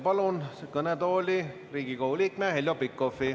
Palun kõnetooli Riigikogu liikme Heljo Pikhofi.